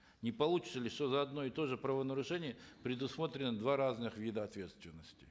не получится ли что за одно и то же правонарушение предусмотрено два разных вида ответственности